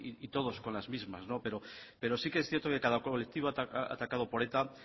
y todos con las mismas pero sí que es cierto que cada colectivo atacado por eta